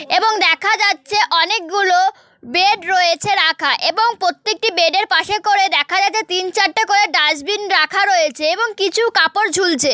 এবং দেখা যাচ্ছে অনেকগুলো বেড রয়েছে রাখা এবং প্রত্যেকটি বেড এর পাশে করে দেখা যাচ্ছে তিন চারটা করে ডাস্টবিন রাখা রয়েছে এবং কিছু কাপড় ঝুলছে।